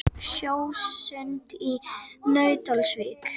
Sjósund í Nauthólsvík.